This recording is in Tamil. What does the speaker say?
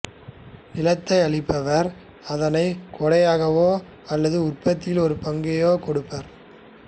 நிலத்தை அளிப்பவர் அதனை கொடையாகவோ அல்லது உற்பத்தியின் ஒரு பங்குக்கோ கொடுப்பார்